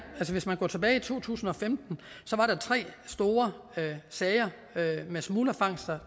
hvis man går tilbage til to tusind og femten så var der tre store sager med smuglerfangster